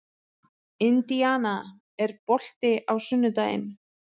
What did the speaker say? Indiana, er bolti á sunnudaginn?